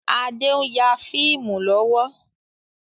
Adé n ya fíìmù lọ́wọ́.